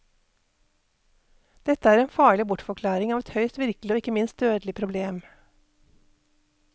Dette er en farlig bortforklaring av et høyst virkelig og ikke minst dødelig problem.